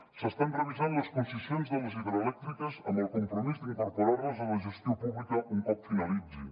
s’estan revisant les concessions de les hidroelèctriques amb el compromís d’incorporar les a la gestió pública un cop finalitzin